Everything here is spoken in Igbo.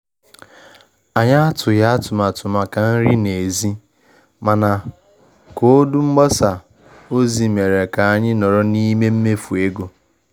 Anyị atụghị atụmatụ maka nri n'èzí, mana koodu mgbasa ozi mere ka anyị nọrọ n'ime mmefu ego